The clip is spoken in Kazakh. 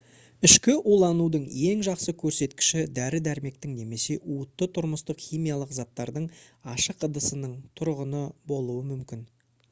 ішкі уланудың ең жақсы көрсеткіші дәрі-дәрмектің немесе уытты тұрмыстық химиялық заттардың ашық ыдысының тұрғаны болуы мүмкін